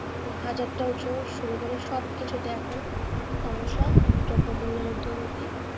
শুরু করে সব কিছুতেই এখন সমস্যা দ্রব্যমূল্যের ঊর্ধ্বগতি।